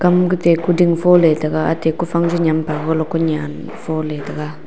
ku ding fon ley ley taiga atai ku far ley cha ga.